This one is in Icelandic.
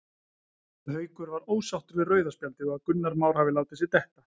Haukur var ósáttur við rauða spjaldið og að Gunnar Már hafi látið sig detta.